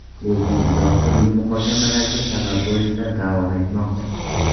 Lekin izoh turli muhokamalarga sabab bo‘lishda davom etmoqda.